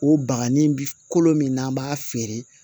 O bagannin bi kolo min n'an b'a feere